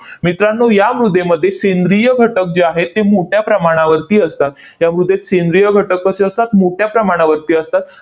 मित्रांनो, या मृदेमध्ये सेंद्रिय घटक जे आहेत, ते मोठ्या प्रमाणावरती असतात. या मृदेत सेंद्रिय घटक कसे असतात? मोठ्या प्रमाणावरती असतात.